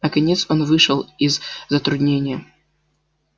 наконец он вышел из затруднения